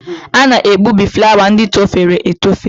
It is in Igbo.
A na-egbubi flawa ndị torofere etofe.